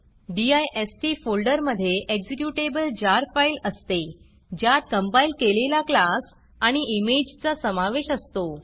डिस्ट फोल्डरमधे executable jar file असते ज्यात कंपाईल केलेला क्लास आणि इमेजचा समावेश असतो